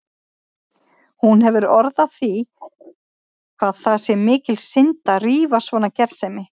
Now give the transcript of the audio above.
Hún hefur orð á því hvað það sé mikil synd að rífa svona gersemi.